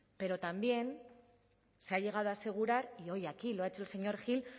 pero también se ha llegado a asegurar y hoy aquí lo ha hecho el señor gil